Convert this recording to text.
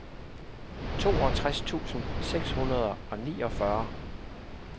toogtres tusind seks hundrede og niogfyrre